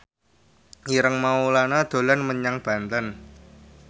Ireng Maulana dolan menyang Banten